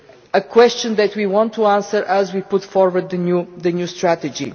a question that we intend to answer as we put forward the new strategy.